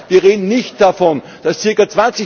Wir reden nicht davon, dass ca.